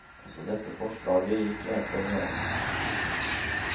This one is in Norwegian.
Også dette forslaget gikk enstemning igjennom.